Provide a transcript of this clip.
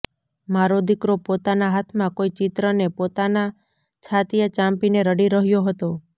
મારો દીકરો પોતાના હાથમાં કોઈ ચિત્ર ને પોતાના છાતીએ ચાંપીને રડી રહ્યો હતો